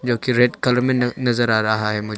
जो कि red colour में न नजर आ रहा है मुझे।